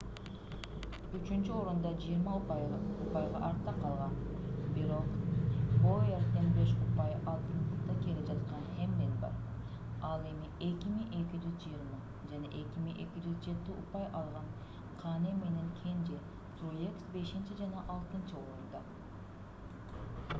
үчүнчү орунда 20 упайга артта калган бирок боуэрден беш упай алдыда келе жаткан хэмлин бар ал эми 2220 жана 2207 упай алган кане менен кенже труекс бешинчи жана алтынчы орунда